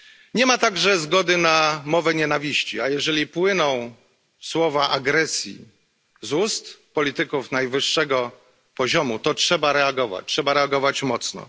Nie ma także zgody na mowę nienawiści, a jeżeli słowa agresji płyną z ust polityków najwyższego szczebla, to trzeba reagować, trzeba reagować mocno.